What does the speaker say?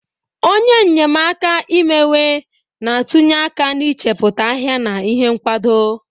Onye nnyemaaka imewe na-atụnye aka n'ichepụta ahịa na ihe nkwado